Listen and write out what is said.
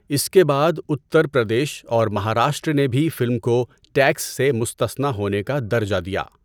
اس کے بعد اتر پردیش اور مہاراشٹرا نے بھی فلم کو ٹیکس سے مستثنی ہونے کا درجہ دیا۔